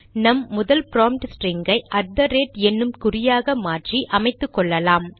நம் முதன்மை prompt string ஐ அட் தெ ரேட் என்னும் குறியாக மாற்றி அமைத்துக்கொள்ளலாம்